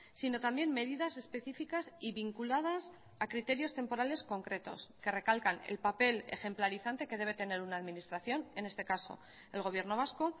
sino también medidas específicas y vinculadas a criterios temporales concretos que recalcan el papel ejemplarizante que debe tener una administración en este caso el gobierno vasco